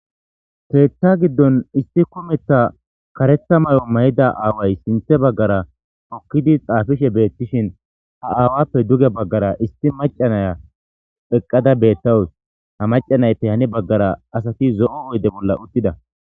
teetha giddon issi kumetha karetha may7o may7ida aaway sinthe baggara okkidi xaafishe beettishin ha aawappe duge baggara isti macanaya eqqada beettawus ha macanaytey hani baggara asati zo7o oyde bolla uttida